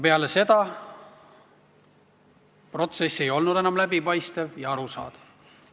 Peale seda ei olnud protsess enam läbipaistev ja arusaadav.